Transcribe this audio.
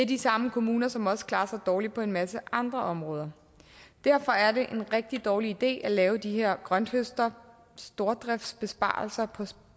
de samme kommuner som også klarer sig dårligt på en masse andre områder derfor er det en rigtig dårlig idé at lave de her grønthøster stordriftsbesparelser på